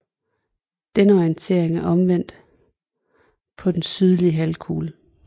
Denne orientering er omvendt på den sydlige halvkugle